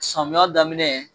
Samiya daminɛ